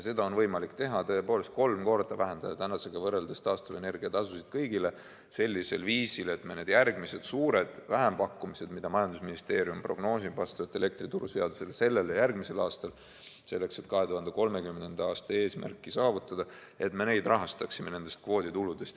Seda on võimalik teha, tõepoolest vähendada tänasega võrreldes kolm korda taastuvenergia tasusid kõigil sellisel viisil, et me need järgmised suured vähempakkumised, mida majandusministeerium prognoosib vastavalt elektrituruseadusele sellel ja järgmisel aastal, selleks et 2030. aasta eesmärki saavutada, et me rahastaksime neid kvoodituludest.